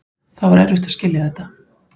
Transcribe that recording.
Það var erfitt að skilja þetta.